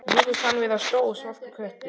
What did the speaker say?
Mér finnst hann vera stór svartur köttur.